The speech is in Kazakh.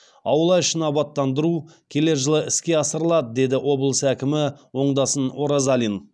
аула ішін абаттандыру келер жылы іске асырылады деді облыс әкімі оңдасын оразалин